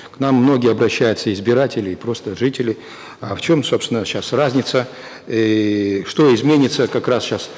к нам многие обращаются избиратели и просто жители а в чем собственно сейчас разница иии что изменится как раз сейчас